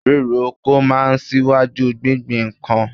Ríro oko máa ń ṣíwájú gbingbin nǹkan